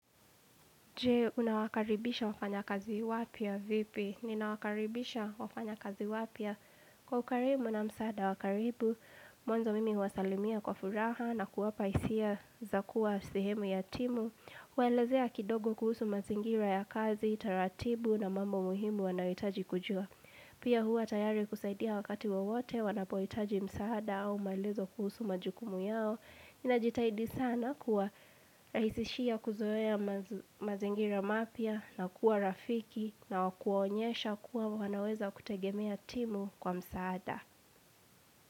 Je, unawakaribisha wafanya kazi wapya vipi? Ninawakaribisha wafanya kazi wapya kwa ukarimu na msaada wakaribu. Mwanzo mimi huwasalimia kwa furaha na kuwapa hisia zakuwa sehemu ya timu. Waelezea kidogo kuhusu mazingira ya kazi, taratibu na mambo muhimu wanaoitaji kujua. Pia huwa tayari kusaidia wakati wowote wanapoitaji msaada au maelezo kuhusu majukumu yao. Nina jitahidi sana kuwa raisishia kuzoea mazi mazingira mapya na kuwa rafiki na wakuwaonyesha kuwa wanaweza kutegemea timu kwa msaada.